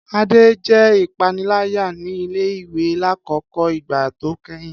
Ade jẹ ipanilaya ni ile-iwe lakoko igba to kẹhin.